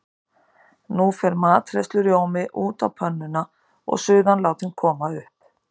Nú fer matreiðslurjómi út á pönnuna og suðan látin koma upp.